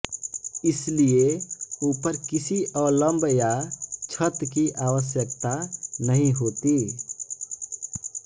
इसलिए ऊपर किसी अवलंब या छत की आवश्यकता नहीं होती